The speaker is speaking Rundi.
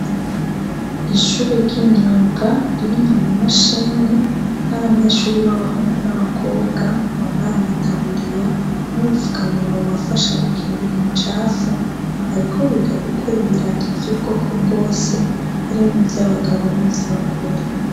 Ishure ry'imyuga ririmwo amamashini n'abanyeshure b'abahungu n'abakobwa bambaye amatabururiya n'ubupfukamunwa bubafasha gukingira imicafu bariko biga gukora ibirato vy'ubwoko bwose harimwo ivyo abagabo n'ivyo abagore.